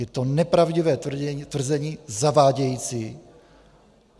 Je to nepravdivé tvrzení, zavádějící.